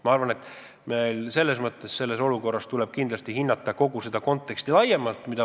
Ma arvan, et kindlasti tuleb hinnata kogu seda konteksti laiemalt.